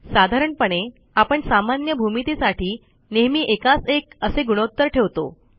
साधारणपणे आपण सामान्य भूमितीसाठी नेहमी एकास एक असे गुणोत्तर ठेवतो